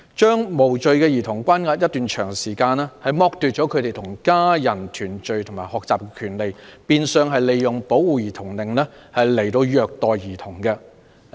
將無罪兒童關押一段長時間，剝奪了他們與家人團聚及學習的權利，變相是利用保護兒童令虐待兒童。